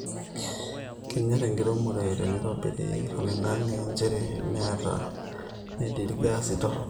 Kenyor enkiremo teneitobiri oloingange nchere metaa metii ilgaasi torrok